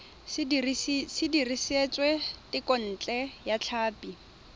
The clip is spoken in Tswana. se dirisitswe thekontle ya tlhapi